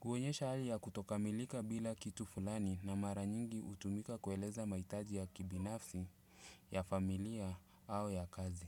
Kuonyesha hali ya kutokamilika bila kitu fulani na mara nyingi hutumika kueleza mahitaji ya kibinafsi, ya familia, au ya kazi.